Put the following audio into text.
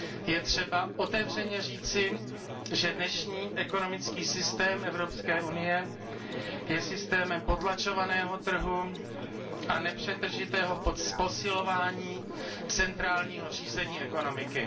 Je třeba otevřeně říci, že dnešní ekonomický systém Evropské unie je systémem potlačovaného trhu a nepřetržitého posilování centrálního řízení ekonomiky.